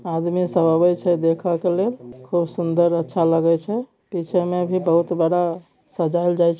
आदमी सब आबेय छे देखा के लिए खुबसुंदर अच्छा लागे छे पीछे मे भी बहुत बड़ा सजाइयेल जाई --